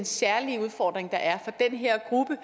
særlige udfordring der er for den her gruppe